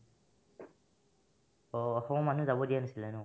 অ, অসমৰ মানুহ যাব দিয়া নাছিলে ন ?